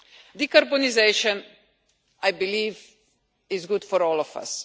Decarbonisation, I believe, is good for all of us